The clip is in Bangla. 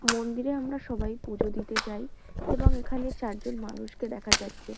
মন্দিরে আমরা সবাই পুজো দিতে যাই এবং এখানে চারজন মানুষকে দেখা যাচ্ছে।